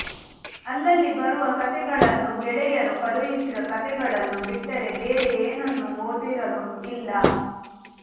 ಅಲ್ಲಲ್ಲಿ ಬರುವ ಕತೆಗಳನ್ನೂ ಗೆಳೆಯರು ಕಳುಹಿಸಿದ ಕತೆಗಳನ್ನೂ ಬಿಟ್ಟರೆ ಬೇರೆ ಏನನ್ನೂ ಓದಿರಲೂ ಇಲ್ಲ